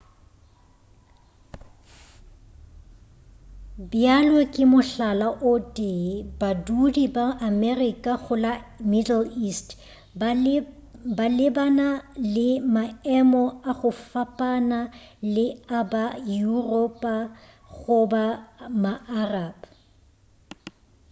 bjalo ka mohlala o tee badudi ba america go la middle east ba lebana le maemo a go fapana le a ba europa goba ma arab